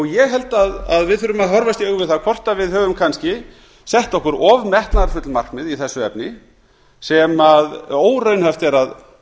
ég held að við þurfum að horfast í augu við það hvort við höfum kannski sett okkur of metnaðarfull markmið í þessu efni sem óraunhæft er að